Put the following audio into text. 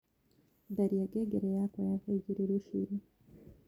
tharĩa ngengere yakwa ya thaaĩgĩrĩ rũcĩĩnĩ